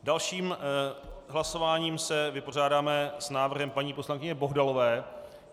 Dalším hlasováním se vypořádáme s návrhem paní poslankyně Bohdalové.